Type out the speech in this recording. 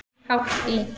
Hátt í